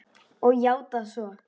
Og játað svo.